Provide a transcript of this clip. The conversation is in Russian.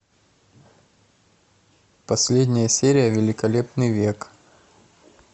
последняя серия великолепный век